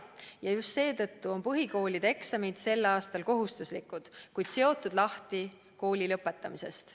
Ja just seetõttu on põhikooli lõpueksamid sel aastal kohustuslikud, kuid seotud lahti kooli lõpetamisest.